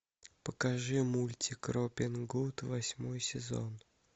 покажи мультик робин гуд восьмой сезон